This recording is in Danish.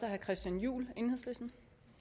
herre christian juhl enhedslisten